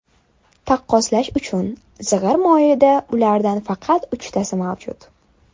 Taqqoslash uchun: zig‘ir moyida ulardan faqat uchtasi mavjud.